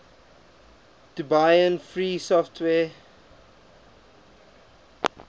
debian free software